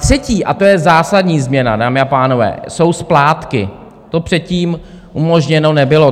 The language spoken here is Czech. Třetí, a to je zásadní změna, dámy a pánové, jsou splátky, to předtím umožněno nebylo.